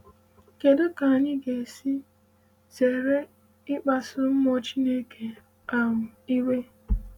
Kedu ka anyị ga - esi zere ịkpasu Mmụọ Chineke um iwe?